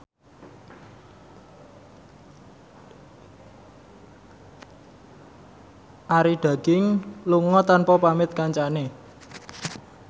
Arie Daginks lunga tanpa pamit kancane